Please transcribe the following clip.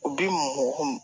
U bi mɔgɔ